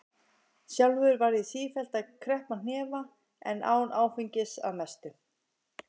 Sjálfur var ég sífellt með kreppta hnefa en án áfengis- að mestu.